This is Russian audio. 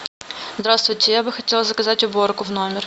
здравствуйте я бы хотела заказать уборку в номер